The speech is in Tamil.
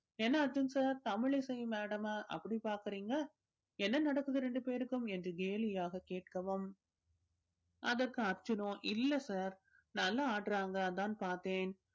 என்ன அர்ஜுன் sir தமிழிசை madam அ அப்படி பாக்கறீங்க என்ன நடக்குது ரெண்டு பேருக்கும் என்று கேலியாக கேட்கவும் அதற்கு அர்ஜுனோ இல்ல sir நல்லா ஆடுறாங்க அதான் பார்த்தேன்.